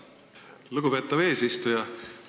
Lugupeetav eesistuja!